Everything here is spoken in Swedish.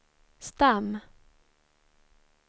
stam